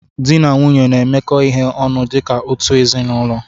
Dị na nwunye na-emekọ ihe ọnụ dịka otu ezinaụlọ